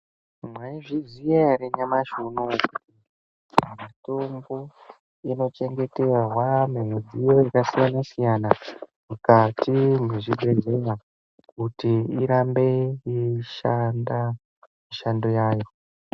Mwaiziya ere kuti nyamashi unou kuti mitombo inochengeterwa mumidziyo yakasiyana siyana mukati mezvibhedhlera kuti irambe yeishanda mishando yayo.